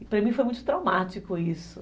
E para mim foi muito traumático isso.